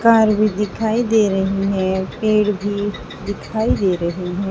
Car भी दिखाई दे रही है पेड़ भी दिखाई दे रहे हैं।